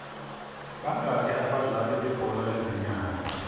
bangaki abadlali bebhola lezinyawo